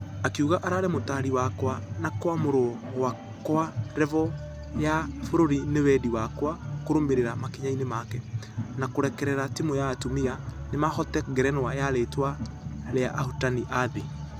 Akĩuga ararĩ mũtari wakwa na kũamũrwo gwakwa revel ya bũrũri nĩ wendi wakwa kũrũmĩrera makinya-inĩ make. Na kũrekerera timũ ya atumia nĩmahotana ngerenwa ya rĩtwa rĩa ahotani a thĩ .........